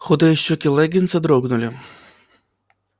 худые щёки лэннинса дрогнули